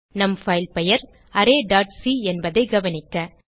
நம் பைல் பெயர் arrayசி என்பதை கவனிக்க